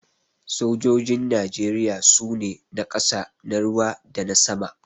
Sojojin Najeriya su ne: na ƙasa, na ruwa dana sama.